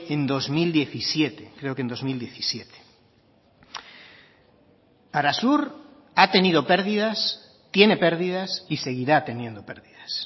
en dos mil diecisiete creo que en dos mil diecisiete arasur ha tenido pérdidas tiene pérdidas y seguirá teniendo pérdidas